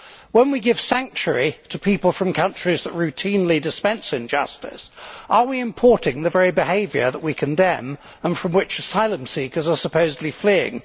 When we give sanctuary to people from countries that routinely dispense injustice, are we importing the very behaviour that we condemn and from which asylum seekers are supposedly fleeing?